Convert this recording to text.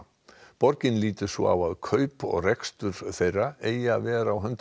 borgin lítur svo á að kaup og rekstur þeirra eigi að vera á höndum